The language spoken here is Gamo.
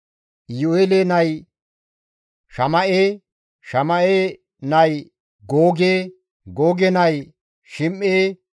Iyu7eele nay Shama7e, Shama7e nay Googe, Googe nay Shim7e,